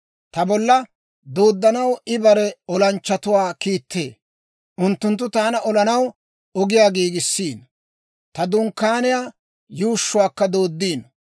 Ta bolla dooddanaw I bare olanchchatuwaa kiittee; unttunttu taana olanaw ogiyaa giigisiino; ta dunkkaaniyaa yuushshuwaakka dooddiino.